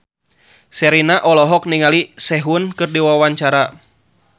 Sherina olohok ningali Sehun keur diwawancara